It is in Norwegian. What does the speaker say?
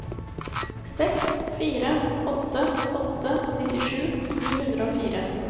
seks fire åtte åtte nittisju ni hundre og fire